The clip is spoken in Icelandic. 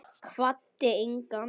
Kvaddi engan.